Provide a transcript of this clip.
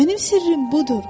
Mənim sirrim budur.